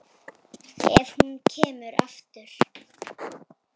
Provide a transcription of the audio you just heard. Ef hún kemur aftur.